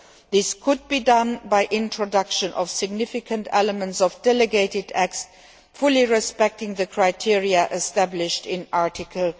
This could be done by the introduction of significant elements of the delegated acts procedure, fully respecting the criteria established in Article